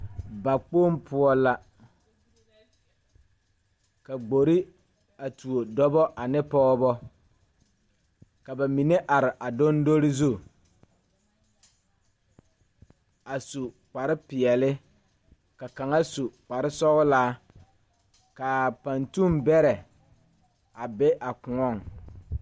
Bakpoŋ poɔ la ka gbore a tuo dɔbɔ ane pɔɔbɔ ka ba mine are a doŋdoli zu a su kparepeɛle ka kaŋa su kparesɔglaa kaa paŋtuŋ bɛrɛ a be a kõɔŋ.